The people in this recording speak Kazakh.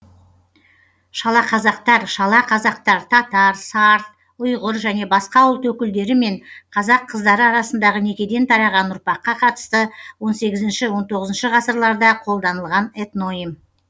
шалақазақтар шала қазақтар татар сарт ұйғыр және басқа ұлт өкілдері мен қазақ қыздары арасындағы некеден тараған ұрпаққа қатысты он сегізінші он тоғызыншы ғасырларда қолданылған этноним